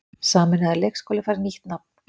Sameinaður leikskóli fær nýtt nafn